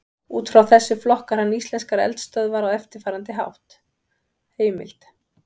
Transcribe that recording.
Út frá þessu flokkar hann íslenskar eldstöðvar á eftirfarandi hátt: Heimild: